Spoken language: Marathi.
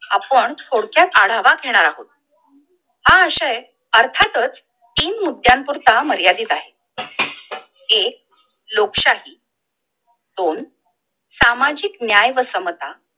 आपण थोडक्यात आढावा घेणार आहोत! हा आशय अर्थात च तीन मुद्द्यान पुरता मर्यादित आहे! एक लोकशाही, दोन सामाजिक न्याय व समता